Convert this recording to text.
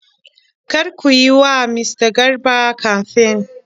Kar ku yi wa mista Garba kamfen.!